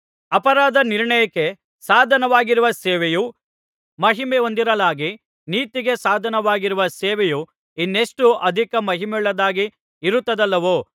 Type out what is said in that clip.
ಅಪರಾಧ ನಿರ್ಣಯಕ್ಕೆ ಸಾಧನವಾಗಿರುವ ಸೇವೆಯು ಮಹಿಮೆಹೊಂದಿರಲಾಗಿ ನೀತಿಗೆ ಸಾಧನವಾಗಿರುವ ಸೇವೆಯು ಇನ್ನೆಷ್ಟೋ ಅಧಿಕ ಮಹಿಮೆಯುಳ್ಳದ್ದಾಗಿ ಇರತ್ತದಲ್ಲವೋ